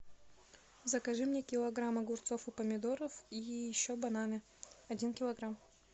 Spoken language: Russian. закажи мне килограмм огурцов и помидоров и еще бананы один килограмм